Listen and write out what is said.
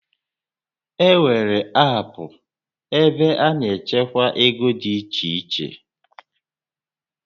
E nwèrè aapụ ebe a na-echekwa ego dị iche iche